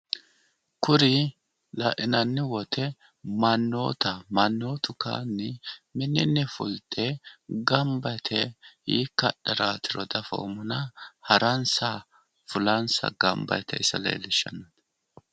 kuri la'inanni woyte mannootaho mannotu kayiinni minninn fulte ganba yite hiikka hadharaatiro daffommonna haransa fulansa ganba yiite ise leellishannino.